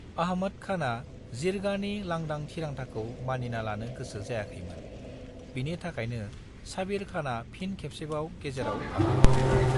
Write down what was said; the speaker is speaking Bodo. अहमद खाना जिरगानि लांदां थिरांथाखौ मानिना लानो गोसो जायाखैमोन, बिनि थाखायनो साबिर खाना फिन खेबसेबाव गेजेराव हाब्बावदोंमोन।